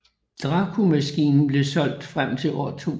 DraCo maskinen blev solgt frem til år 2000